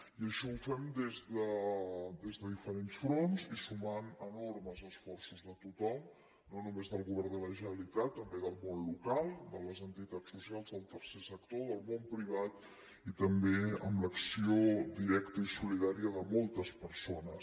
i això ho fem des de diferents fronts i sumant enormes esforços de tothom no només del govern de la generalitat també del món local de les entitats socials del tercer sector del món privat i també amb l’acció directa i solidària de moltes persones